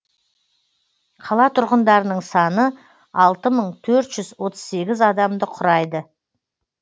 қала тұрғындарының саны алты мың төртжүз отыз сегіз адамды құрайды